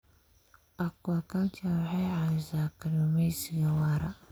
Aquaculture waxay caawisaa kalluumaysiga waara.